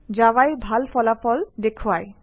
জাভাই ভাল ফলাফল দেখুৱায়